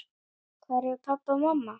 Hvar eru pabbi og mamma?